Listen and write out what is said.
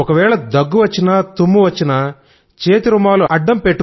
ఒకవేళ దగ్గు వచ్చినా తుమ్ము వచ్చినా చేతి రుమాలు అడ్డం